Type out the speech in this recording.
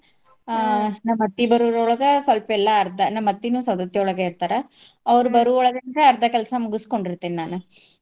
ನಮ್ ಅತ್ತಿ ಬರೋರ್ ಒಳ್ಗ ಸಲ್ಪ ಎಲ್ಲಾ ಅರ್ದಾ ನಮ್ ಅತ್ತಿನೂ ಸೌದತ್ತಿಒಳ್ಗ ಇರ್ತಾರ ಅವ್ರ ಬರು ಒಳ್ಗ ಅಂದ್ರ ಅರ್ದಾ ಕೆಲ್ಸ ಮುಗುಸ್ಕೋಂಡಿರ್ತೇನ್ ನಾನ್.